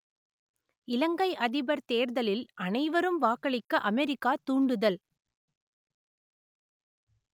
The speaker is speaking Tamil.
இலங்கை அதிபர் தேர்தலில் அனைவரும் வாக்களிக்க அமெரிக்கா தூண்டுதல்